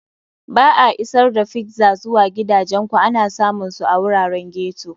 Ba a Isar da Pizza zuwa Gidajenku ana samun su a wuraren ghetto.